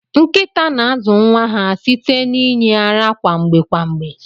Nkita na azu nwa ha site na inye ara kwa mgbe kwa mgbe.